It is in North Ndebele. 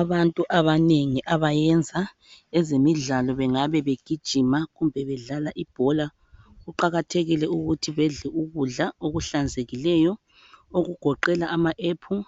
Abantu abanengi abayenza ezemidlalo bengabe begijima kumbe bedlala ibhola . Kuqakathekile ukuthi bedle ukudla okuhlanzekileyo okugoqela ama apple,